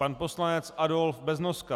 Pan poslanec Adolf Beznoska.